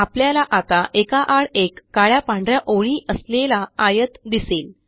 आपल्याला आता एका आड एक काळ्या पांढ या ओळी असलेला आयत दिसेल